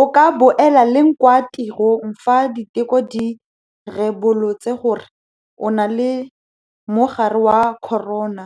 O ka boela leng kwa tirong fa diteko di ribolotse gore o na lemogare wa corona,